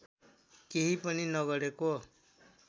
केही पनि नगरेको